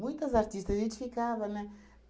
artistas a gente ficava, né?